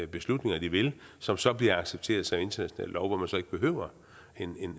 beslutninger de vil som så bliver accepteret som international lov hvor man så ikke behøver en